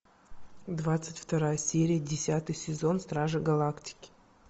двадцать вторая серия десятый сезон стражи галактики